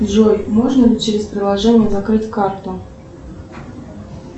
джой можно ли через приложение закрыть карту